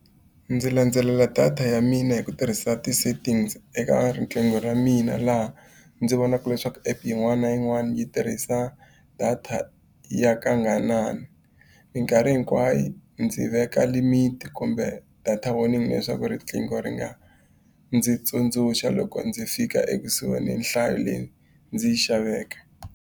Ndzi landzelela data ya mina hi ku tirhisa ti-settings eka riqingho ra mina, laha ndzi vonaka leswaku app yin'wana na yin'wana yi tirhisa data ya . Minkarhi hinkwayo ndzi veka limit kumbe data warning leswaku riqingho ri nga ndzi tsundzuxa loko ndzi fika ekusuhi ni nhlayo leyi ndzi yi xaveke.